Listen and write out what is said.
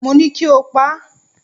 Mo ní kí o pa á!